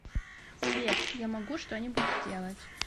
сбер я могу что нибудь сделать